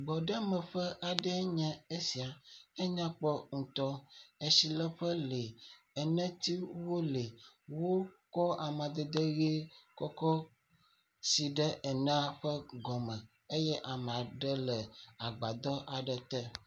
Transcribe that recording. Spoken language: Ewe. Gbɔɖemeƒe aɖee nye sia, enyakpɔ ŋutɔ. Atsileƒe le, enɛtiwo wo le. Wo kɔ amadede ʋi kɔ si ɖe enɛa ƒe gɔme eye ame aɖe le agbadɔ aɖe te.